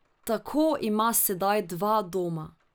Tako ima sedaj dva doma.